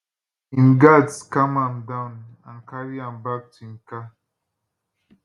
im guards calm am down and carry am back to im car